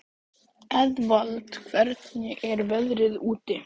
Eðvald, hvernig er veðrið úti?